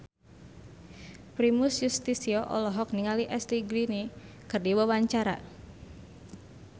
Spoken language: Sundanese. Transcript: Primus Yustisio olohok ningali Ashley Greene keur diwawancara